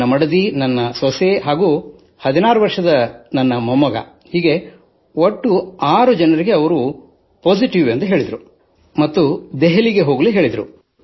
ನನ್ನ ಮಡದಿ ಮತ್ತು ನನ್ನ ಸೊಸೆ ಹಾಗೂ ನನ್ನ 16 ವರ್ಷದ ಮೊಮ್ಮಗ ಹೀಗೆ 6 ಜನರಿಗೆ ಅವರು ಪಾಸಿಟಿವ್ ಎಂದು ಹೇಳಿದರು ಮತ್ತು ದೆಹಲಿಗೆ ಕರೆದೊಯ್ಯಬೇಕೆಂದು ತಿಳಿಸಿದರು